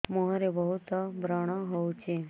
ମୁଁହରେ ବହୁତ ବ୍ରଣ ହଉଛି